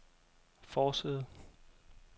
forside